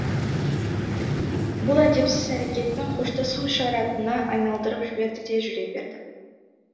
бұл әдепсіз әрекетін қоштасу ишаратына айналдырып жіберді де жүре берді